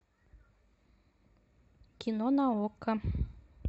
кино на окко